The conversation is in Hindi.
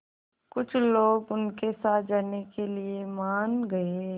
कुछ लोग उनके साथ जाने के लिए मान गए